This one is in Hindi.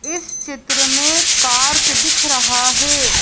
इस चित्र में पार्क दिख रहा है।